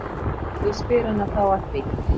Ég spyr hana þá að því.